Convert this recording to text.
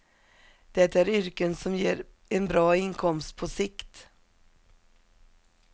Det är yrken som ger en bra inkomst på sikt.